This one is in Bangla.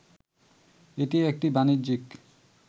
এটি একটি বাণিজ্যিক